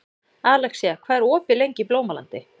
Alexía, hvað er opið lengi í Blómalandi?